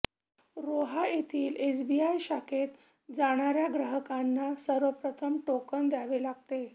रोहा येथील एसबीआय शाखेत जाणार्या ग्राहकांना सर्वप्रथम टोकन घ्यावे लागते